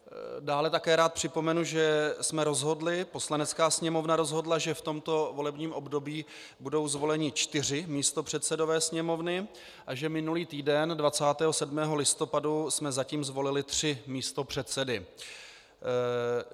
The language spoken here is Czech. Dále také rád připomenu, že jsme rozhodli, Poslanecká sněmovna rozhodla, že v tomto volebním období budou zvoleni čtyři místopředsedové sněmovny a že minulý týden 27. listopadu jsme zatím zvolili tří místopředsedy.